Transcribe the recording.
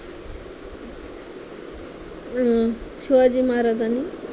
अं शिवाजी महाराजांनी